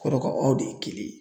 Kɔrɔ ko aw de ye kelen ye